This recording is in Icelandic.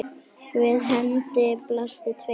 Við henni blasa tveir aftur